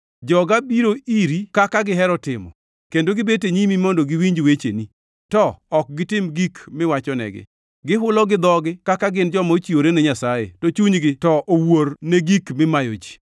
Joga biro iri, kaka gihero timo, kendo gibet e nyimi mondo giwinj wecheni, to ok gitim gik miwachonegi. Gihulo gi dhogi kaka gin joma ochiwore ne Nyasaye, to chunygi to owuor ne gik mimayo ji.